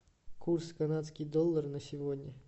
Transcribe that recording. курс канадский доллар на сегодня